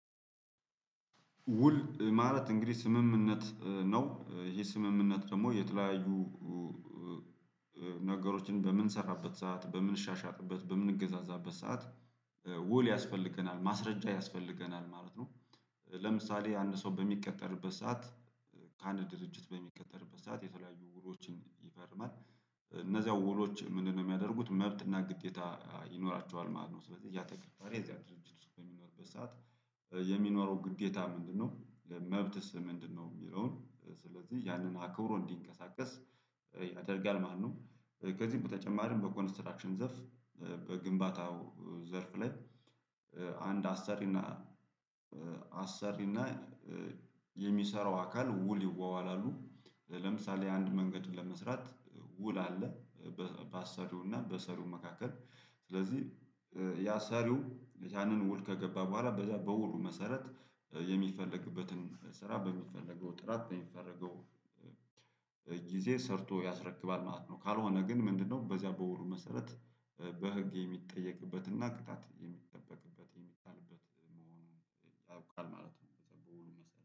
ውል ማለት እንግዲህ ስምምነት ነው። ይሄ ስምምነት ደግሞ የተለያዩ ነገሮችን በምንሰራበት ሰዓት፣ በምንሻሻጥበት በምንገዛዛበት ሰዓት ውል ያስፈልገናል ማስረጃ ያስፈልገናል ማለት ነው። ለምሳሌ ያንን ሰው በሚቀጠርበት ሰዓት ከአንድ ድርጅት በሚቀጠርበት ሰዓት የተለያዩ ውሎችን ይፈርማል። እነዚያው ውሎች ምንድነው የሚያደርጉት መብትና ግዴታ ይኖራቸዋል ማለት ነው። ስለዚህ ያተቀጣሪ እዚያ ድርጅት ውስጥ በሚኖርበት ሰዓት የሚኖረው ግዴታ ምንድነው መብትስ ምንድነው የሚለውን ስለዚህ ያንን አክብሮ እንዲንቀሳቀስ ያደርጋል ማለት ነው። ከዚህ በተጨማርም በኮንስትራክሽን ዘፍ በግንባታው ዘርፍ ላይ አንድ አሰሪና አሰሪና የሚሰራው አካል ውል ይዋዋላሉ። ለምሳሌ አንድ መንገድ ለመስራት ውል አለ። በአሰሪውና በሰሪው መካከል። ስለዚህ ያ ሰሪው ያንን ውል ከገባ በኋላ በውሉ መሰረት የሚፈለግበትን ስራ በሚፈለገው ጥራት በሚፈረገው ጊዜ ሰርቶ ያስረክባል ማለት ነው። ካልሆነ ግን ምንድነው በዚያ በውሉ መሰረት በህግ የሚጠየቅበትና ቅጣት የሚጠበቅበት የሚጣልበት መሆኑን ይታወቃል ማለት ነው። በጣም ብዙ መሰለህ